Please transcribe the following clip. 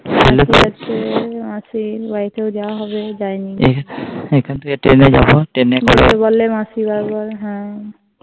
সেলেতে মাসি আছে মাসির বাড়িতে ও যাওয়া হবে এখান থেকে Train যাবো Train করে, মাসি বলে বার বার